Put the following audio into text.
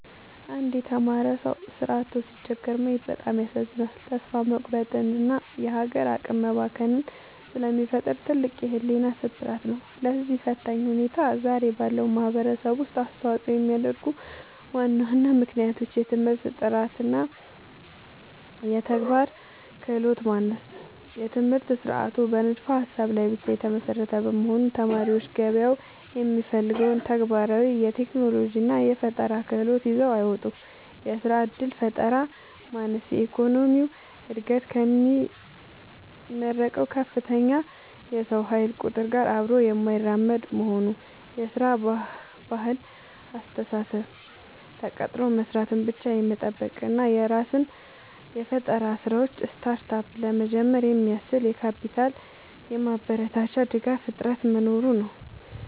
አንድ የተማረ ሰው ሥራ አጥቶ ሲቸገር ማየት በጣም ያሳዝናል፤ ተስፋ መቁረጥንና የሀገር አቅም መባከንን ስለሚፈጥር ትልቅ የሕሊና ስብራት ነው። ለዚህ ፈታኝ ሁኔታ ዛሬ ባለው ማኅበረሰብ ውስጥ አስተዋፅኦ የሚያደርጉ ዋና ዋና ምክንያቶች፦ የትምህርት ጥራትና የተግባር ክህሎት ማነስ፦ የትምህርት ሥርዓቱ በንድፈ-ሀሳብ ላይ ብቻ የተመሰረተ በመሆኑ፣ ተማሪዎች ገበያው የሚፈልገውን ተግባራዊ የቴክኖሎጂና የፈጠራ ክህሎት ይዘው አይወጡም። የሥራ ዕድል ፈጠራ ማነስ፦ የኢኮኖሚው ዕድገት ከሚመረቀው ከፍተኛ የሰው ኃይል ቁጥር ጋር አብሮ የማይራመድ መሆኑ። የሥራ ባህልና አስተሳሰብ፦ ተቀጥሮ መሥራትን ብቻ የመጠበቅ እና የራስን የፈጠራ ሥራዎች (Startup) ለመጀመር የሚያስችል የካፒታልና የማበረታቻ ድጋፍ እጥረት መኖሩ ነው።